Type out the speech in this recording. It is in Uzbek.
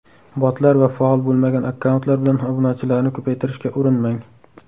Botlar va faol bo‘lmagan akkauntlar bilan obunachilarni ko‘paytirishga urinmang.